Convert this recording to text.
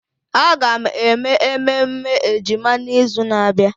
Aga m eme ememme ejima n'izu na-abịa.